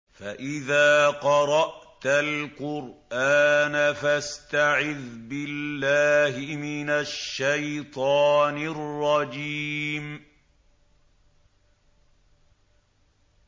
فَإِذَا قَرَأْتَ الْقُرْآنَ فَاسْتَعِذْ بِاللَّهِ مِنَ الشَّيْطَانِ الرَّجِيمِ